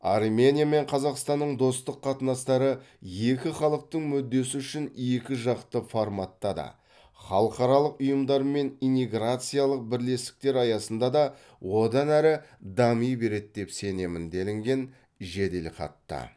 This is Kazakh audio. армения мен қазақстанның достық қатынастары екі халықтың мүддесі үшін екіжақты форматта да халықаралық ұйымдар мен инеграциялық бірлестіктер аясында да одан әрі дами береді деп сенемін делінген жеделхатта